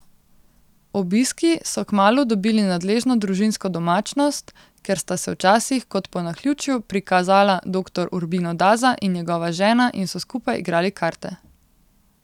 Obiski so kmalu dobili nadležno družinsko domačnost, ker sta se včasih, kot po naključju, prikazala doktor Urbino Daza in njegova žena in so skupaj igrali karte.